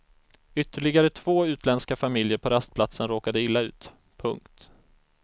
Ytterligare två utländska familjer på rastplatsen råkade illa ut. punkt